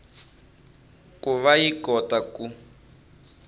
ku va yi kota ku